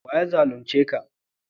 wa ya zalunce ka?